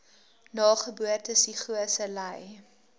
nageboortelike psigose ly